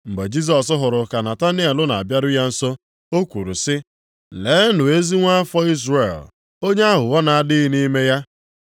Mgbe Jisọs hụrụ ka Nataniel na-abịaru ya nso, o kwuru sị, “Leenụ ezi nwa afọ Izrel onye aghụghọ na-adịghị nʼime ya.”